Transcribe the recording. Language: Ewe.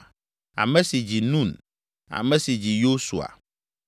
ame si dzi Nun, ame si dzi Yosua.